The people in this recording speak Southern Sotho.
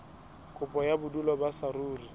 kopo ya bodulo ba saruri